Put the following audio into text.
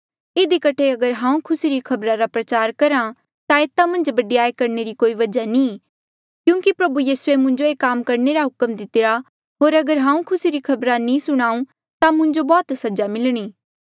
इधी कठे अगर हांऊँ खुसी री खबरा रा प्रचार करहा ता एता मन्झ बडयाई करणे री कोई वजहा नी क्यूंकि प्रभु यीसूए मुंजो ये काम करणे रा हुक्म दितिरा होर अगर हांऊँ खुसी री खबर नी सुणाऊं ता मुंजो बौह्त सजा मिलणी